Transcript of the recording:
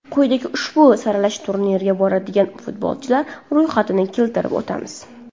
Quyida ushbu saralash turniriga boradigan futbolchilar ro‘yxatini keltirib o‘tamiz.